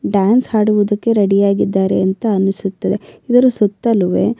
dance ಹಾಡುವುದಕ್ಕೆ ready ಆಗಿದ್ದರೆ ಅಂತ ಅನಿಸುತ್ತದೆ ಇದರ ಸುತ್ತಲುವೆ--